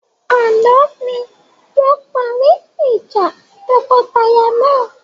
Àná ni wọn parí ìjà tọkọtaya náà.